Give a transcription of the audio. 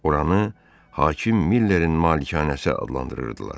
Oranı hakim Millərin malikanəsi adlandırırdılar.